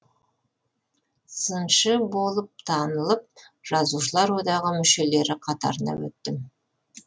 сыншы болып танылып жазушылар одағы мүшелері қатарына өттім